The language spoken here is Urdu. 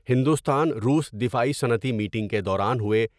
ہندوستان روس دفاعی صنعتی میٹنگ کے دوران ہوئے ۔